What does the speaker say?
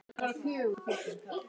Má spyrja hvað þú kaust?